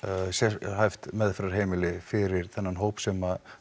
sérhæft meðferðarheimili fyrir þennan hóp sem